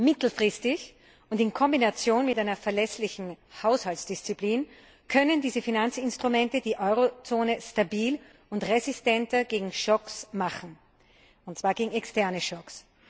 Mittelfristig und in Kombination mit einer verlässlichen Haushaltsdisziplin können diese Finanzinstrumente die Eurozone stabil und resistenter gegen Schocks machen, und zwar gegen externe Schocks.